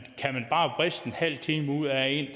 bare vriste en halv time ud af en